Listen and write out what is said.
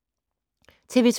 TV 2